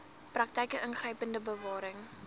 praktyke ingrypende bewaring